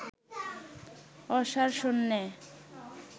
অসাড় শূন্যে